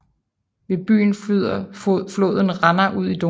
Ved byen flyder floden Ranna ud i Donau